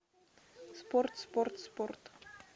спорт спорт спорт